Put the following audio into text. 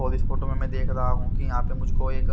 और इस फोटो में मैं देख रहा हूं कि यहां पे मुझको एक--